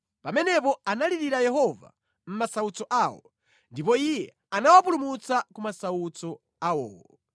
Pamenepo analirira Yehova mʼmasautso awo ndipo Iye anawapulumutsa ku masautso awowo.